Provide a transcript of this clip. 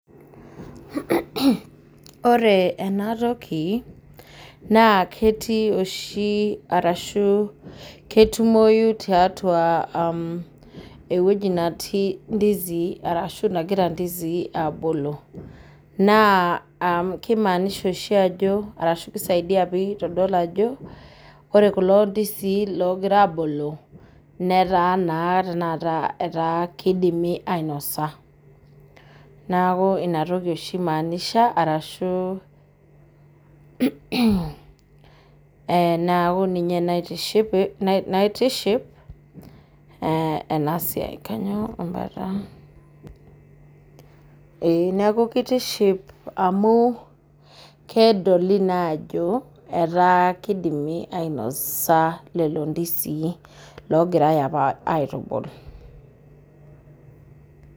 Ore enatoki naa ketii oshi ashu ketumoyu tiatua eweji netii ndizii arashu nagira ndizii abulu. Naa kisaidia oshi ajo ashu kimaanisha ajo ore kulo ndizii loogira abulu ,netaa kidimi ainosa. Neeku inatoki oshi eimaanisha naitiship tenasiai. Neeku kitiship amu kedolita naa ajo etaa kenyae lelo ndizii apa loogirae aitubulu.